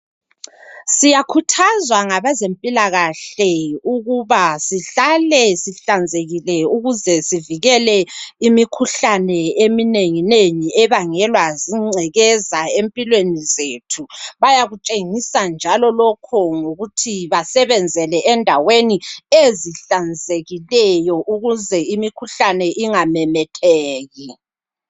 Siyakhuthazwa ngabezempilakahle ukuba sihlale sihlanzekile ukuze sivikele imikhuhlane eminenginengi ebangelwa zingcekeza empilweni zethu. Bayakutshengisa njalo lokho ngokuthi basebenzele endaweni ezihlanzekileyo ukuze imikhuhlane ingamemetheki.